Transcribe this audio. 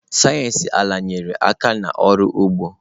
Sayensị ala nyere aka n'ọrụ ugbo.